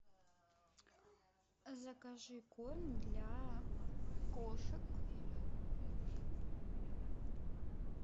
закажи корм для кошек